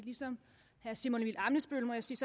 ligesom herre simon emil ammitzbøll må jeg sige